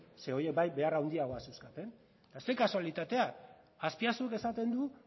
ze horiek bai behar handiagoak zeuzkaten eta ze kasualitatea azpiazuk esaten du